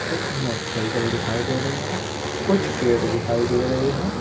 एक मोटरसाइकिल दिखाई दे रही है कुछ पेड़ दिखाई दे रहे है।